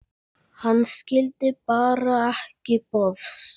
Hann skildi bara ekki bofs.